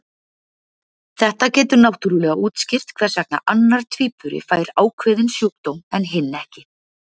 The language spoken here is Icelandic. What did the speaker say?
Þetta getur náttúrulega útskýrt hvers vegna annar tvíburi fær ákveðinn sjúkdóm en hinn ekki.